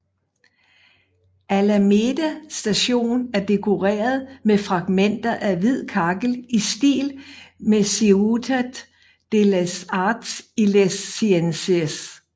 Alameda Station er dekoreret med fragmenter af hvid kakkel i stil med Ciutat de les Arts i les Ciències